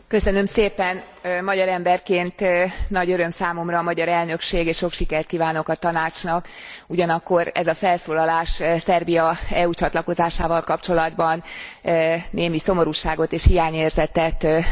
Magyar emberként nagy öröm számomra a magyar elnökség és sok sikert kívánok a Tanácsnak, ugyanakkor ez a felszólalás Szerbia EU csatlakozásával kapcsolatban némi szomorúságot és hiányérzetet okozott nekem.